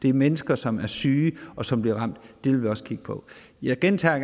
er mennesker som er syge og som bliver ramt dem vil vi også kigge på jeg gentager